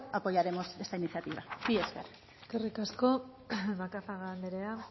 apoyaremos esta iniciativa mila esker eskerrik asko macazaga anderea